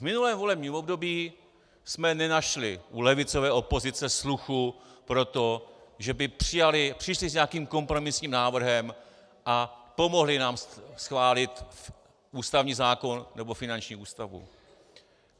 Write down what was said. V minulém volebním období jsme nenašli u levicové opozice sluchu pro to, že by přijali, přišli s nějakým kompromisním návrhem a pomohli nám schválit ústavní zákon nebo finanční ústavu.